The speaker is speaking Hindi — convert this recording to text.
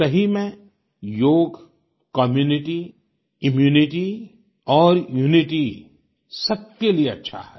सही में योग कम्यूनिटी इम्यूनिटी और यूनिटी सबके लिए अच्छा है